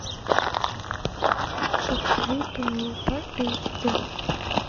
покажи пенелопа эйч ди